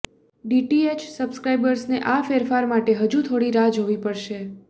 DTH સબ્સ્ક્રાઈબર્સને આ ફેરફાર માટે હજુ થોડી રાહ જોવી પડશે